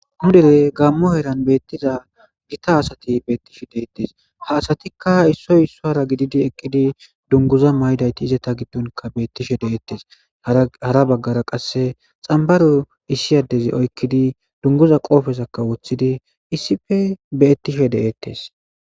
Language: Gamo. Hudere gaammo heeran beettiza gita asati beettishe deettes ha asatikka issoy issohara gididi eqqidi dunguza maydayti izata giddonka beettishe deettes hara baggara qasse xambaru issiyaddezi oykkidi dunguza qoofesakka wothidi issife beettishe de7eettes.